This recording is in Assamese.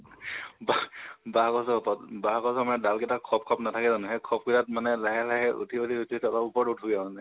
বাহঁ বাহঁ গছৰ উপৰত । বাহঁ গছৰ মানে ডাল কেইটাত খপ খপ নাথাকে জানো? সেই খপ কেইতাত লাহে লাহে উঠি উঠি উঠি উপৰত উঠোগে মানে